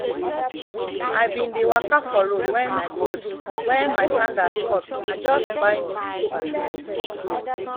i bin dey waka for road wen road wen my sandals cut i just buy new slippers